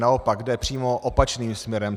Naopak jde přímo opačným směrem.